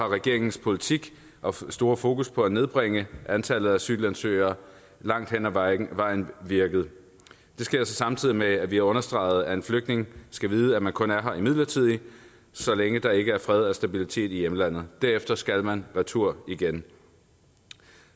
regeringens politik og store fokus på at nedbringe antallet af asylansøgere langt hen ad vejen vejen virket det sker så samtidig med at vi har understreget at en flygtning skal vide at man kun er her midlertidigt så længe der ikke er fred og stabilitet i hjemlandet derefter skal man retur igen